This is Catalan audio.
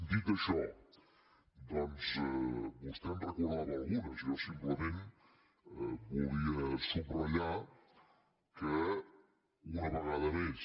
dit això doncs vostè en recordava algunes jo simplement volia subratllar que una vegada més